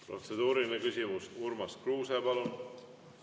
Protseduuriline küsimus, Urmas Kruuse, palun!